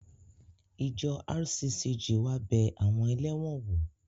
Ìjọ RCCG wá bẹ àwọn ẹlẹ́wọ̀n wò